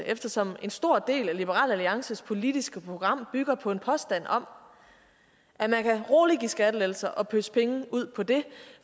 eftersom en stor del af liberal alliances politiske program bygger på en påstand om at man roligt kan give skattelettelser og pøse penge ud på det